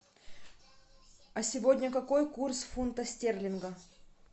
а сегодня какой курс фунта стерлинга